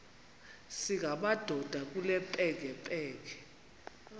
singamadoda kule mpengempenge